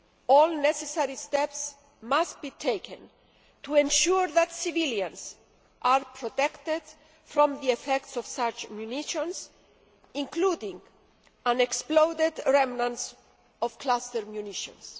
All necessary steps must be taken to ensure that civilians are protected from the effects of such munitions, including unexploded remnants of cluster munitions.